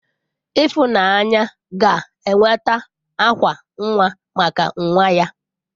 Ifunanya ga enweta akwa nnwa maka nwa ya.